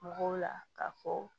Mɔgɔw la ka fɔ